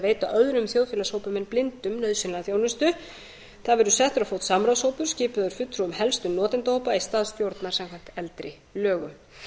veita öðrum þjóðfélagshópum en blindum nauðsynlega þjónustu það verði settur á fót samráðshópur skipaður af fulltrúum helstu notendahópa í stað stjórnar samkvæmt eldri lögum